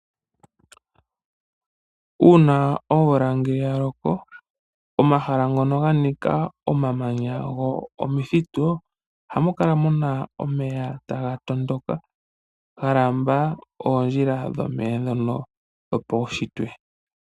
Uuna omvula yaloko omahala ngono ganika omamanya nomithitu ohamu kala muna omeya taga tondoka galamba oondjila dhomeya dhono dhopaushitwe.